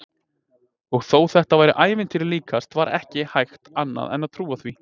Og þó þetta væri ævintýri líkast var ekki hægt annað en trúa því.